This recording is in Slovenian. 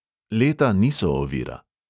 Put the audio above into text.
Leta niso ovira.